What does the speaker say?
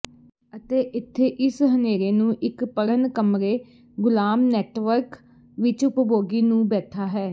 ਅਤੇ ਇੱਥੇ ਇਸ ਹਨੇਰੇ ਨੂੰ ਇੱਕ ਪੜ੍ਹਨ ਕਮਰੇ ਗੁਲਾਮ ਨੈੱਟਵਰਕ ਵਿੱਚ ਉਪਭੋਗੀ ਨੂੰ ਬੈਠਾ ਹੈ